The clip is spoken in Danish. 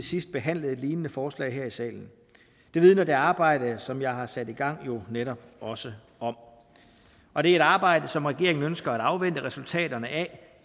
sidst behandlede et lignende forslag her i salen det vidner det arbejde som jeg har sat i gang jo netop også om og det er et arbejde som regeringen ønsker at afvente resultaterne af